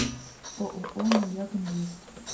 ооо маяк инвест